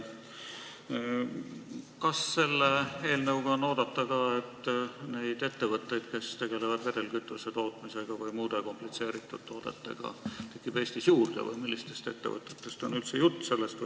Kas selle eelnõu koostajad on silmas pidanud ka, et neid ettevõtteid, kes tegelevad vedelkütuse tootmisega või muude komplitseeritud toodetega, tekib Eestis juurde või millistest ettevõtetest on üldse jutt?